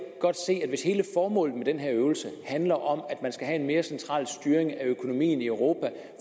godt se at hvis hele formålet med den her øvelse handler om at man skal have en mere central styring af økonomien i europa